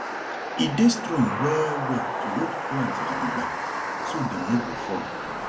e dey strong well well to hold plant gidigbam so dem no go fall